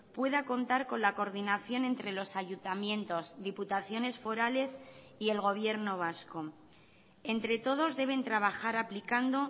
pueda contar con la coordinación entre los ayuntamientos diputaciones forales y el gobierno vasco entre todos deben trabajar aplicando